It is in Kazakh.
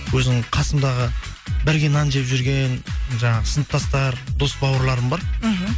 өзімнің қасымдағы бірге нан жеп жүрген жаңағы сыныптастар дос бауырларым бар мхм